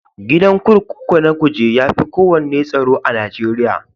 Gidan kurkuku na Kuje ya fi kowanne tsaro.a Najeriya.